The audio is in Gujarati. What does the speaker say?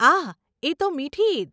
આહ, એ તો મીઠી ઈદ.